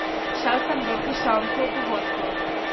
Šel sem dol, k šanku po vodko.